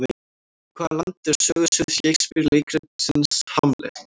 Hvaða land er sögusvið Shakespeare leikritsins Hamlet?